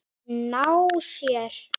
Ná sér?